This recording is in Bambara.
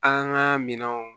An ka minɛnw